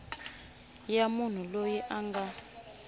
ya munhu loyi a nga